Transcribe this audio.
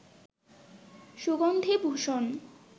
সুগন্ধি ভূষণ